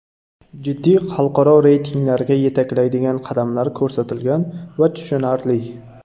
Jiddiy xalqaro reytinglarga yetaklaydigan qadamlar ko‘rsatilgan va tushunarli.